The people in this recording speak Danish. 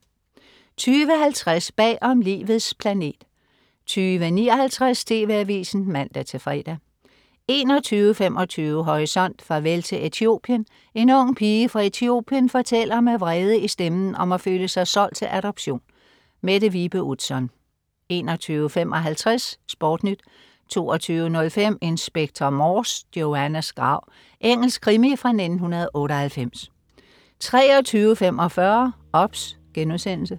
20.50 Bagom Livets planet 20.59 TV AVISEN (man-fre) 21.25 Horisont: Farvel til Etiopien. En ung pige fra Etiopien fortæller med vrede i stemmen om at føle sig solgt til adoption. Mette Vibe Utzon 21.55 SportNyt 22.05 Inspector Morse: Joannas grav. Engelsk krimi fra 1998 23.45 OBS*